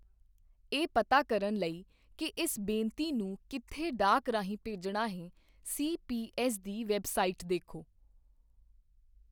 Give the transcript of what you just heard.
ਇਹ ਪਤਾ ਕਰਨ ਲਈ ਕਿ ਇਸ ਬੇਨਤੀ ਨੂੰ ਕਿੱਥੇ ਡਾਕ ਰਾਹੀਂ ਭੇਜਣਾ ਹੈ, ਸੀਪੀਐੱਸ ਦੀ ਵੈੱਬਸਾਈਟ ਦੇਖੋ।